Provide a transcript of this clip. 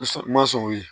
Sɔn ma sɔn o ye